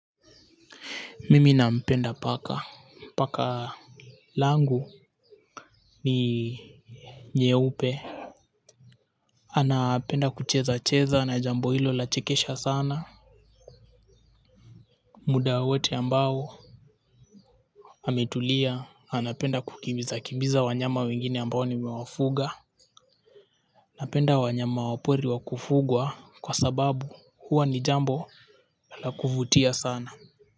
Mimi nampenda paka, paka langu ni nyeupe. Anapenda kuchezacheza na jambo hilo lachekesha sana. Muda wowote ambao ametulia anapenda kukimbiza kimbiza wanyama wengine ambao nimewafuga. Anapenda wanyama wa pori wa kufugwa kwa sababu huwa ni jambo la kuvutia sana.